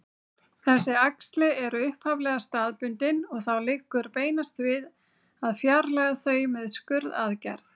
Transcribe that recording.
Þessi æxli eru upphaflega staðbundin og þá liggur beinast við að fjarlægja þau með skurðaðgerð.